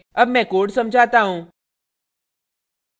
अब मैं code समझाता हूँ